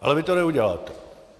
Ale vy to neuděláte.